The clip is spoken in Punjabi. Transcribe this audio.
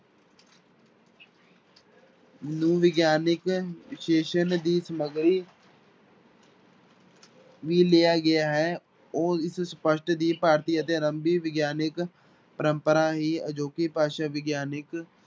ਨੂੰ ਵਿਗਿਆਨਕ ਵਿਸ਼ੇਸ਼ਣ ਦੀ ਸਮੱਗਰੀ ਵੀ ਲਿਆ ਗਿਆ ਹੈ, ਉਹ ਇਸ ਸਪਸ਼ਟ ਦੀ ਭਾਰਤੀ ਅਤੇ ਆਰੰਭੀ ਵਿਗਿਆਨਕ ਪਰੰਪਰਾ ਹੀ ਅਜੋਕੀ ਭਾਸ਼ਾ ਵਿਗਿਆਨਕ